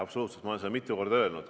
Ma olen seda ka mitu korda öelnud.